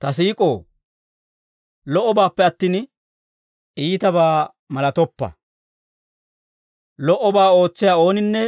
Ta siik'oo, lo"obaappe attin, iitabaa malatoppa. Lo"obaa ootsiyaa ooninne